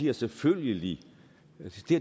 jo selvfølgelig